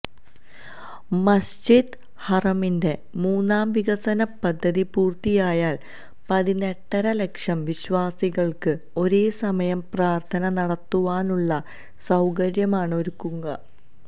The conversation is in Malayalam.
മസ്ജിദ് ഹറമിന്റെ മൂന്നാം വികസന പദ്ധതി പൂര്ത്തിയായാല് പതിനെട്ടര ലക്ഷം വിശ്വാസികള്ക്ക് ഒരേസമയം പ്രാര്ത്ഥന നടത്തുവാനുള്ള സൌകര്യമാണ് ഒരുങ്ങുക